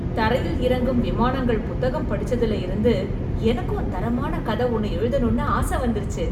தரையில் இறங்கும் விமானங்கள் புத்தகம் படிச்சதுல இருந்து எனக்கும் தரமான கதை ஒண்ணு எழுதணும்னு ஆசை வந்துருச்சு.